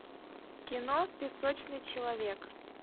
кино песочный человек